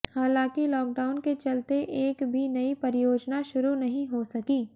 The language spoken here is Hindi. हालांकि लॉकडाउन के चलते एक भी नई परियोजना शुरु नहीं हो सकी